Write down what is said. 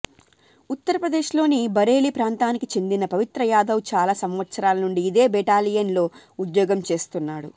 ఉత్తరప్రదేశ్ లోని బరేలి ప్రాంతానికి చెందిన పవిత్ర యాదవ్ చాల సంవత్సరాల నుండి ఇదే బెటాలియన్ లో ఉద్యోగం చేస్తున్నాడు